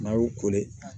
N'a y'u